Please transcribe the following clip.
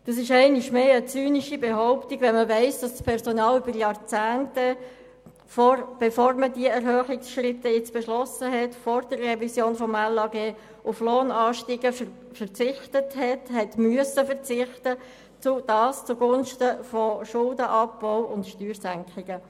Das ist einmal mehr eine zynische Behauptung, wenn man weiss, dass das Personal während Jahrzehnten, bevor man diese Erhöhungsschritte beschlossen hatte, vor der Revision des Gesetzes über die Anstellung der Lehrkräfte (LAG), auf Lohnanstiege verzichten musste – und zwar zugunsten von Schuldenabbau und Steuersenkungen.